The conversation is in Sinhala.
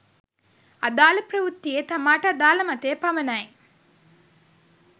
අදාළ ප්‍රවෘත්තියේ තමාට අදාළ මතය පමණයි